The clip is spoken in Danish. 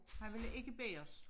Han ville ikke bæres